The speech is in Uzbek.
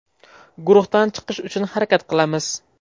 Guruhdan chiqish uchun harakat qilamiz.